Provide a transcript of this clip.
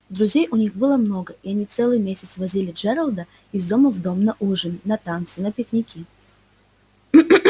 друзей у них было много и они целый месяц возили джералда из дома в дом на ужины на танцы на пикники